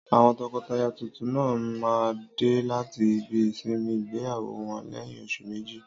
Àwọn tọkọtaya tuntun náà máa dé láti ibi ìsinmi ìgbéyàwó wọn lẹ́yìn oṣù méjì.